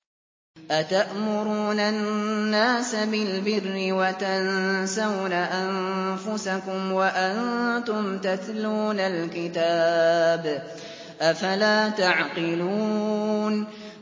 ۞ أَتَأْمُرُونَ النَّاسَ بِالْبِرِّ وَتَنسَوْنَ أَنفُسَكُمْ وَأَنتُمْ تَتْلُونَ الْكِتَابَ ۚ أَفَلَا تَعْقِلُونَ